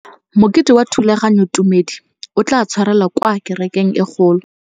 Mokete wa thulaganyôtumêdi o tla tshwarelwa kwa kerekeng e kgolo.